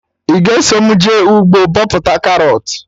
Ị ga eso mụ jee ugbo bọpụta karọt?